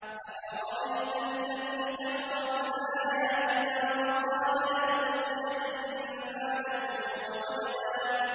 أَفَرَأَيْتَ الَّذِي كَفَرَ بِآيَاتِنَا وَقَالَ لَأُوتَيَنَّ مَالًا وَوَلَدًا